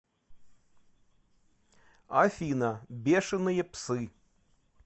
афина бешеные псы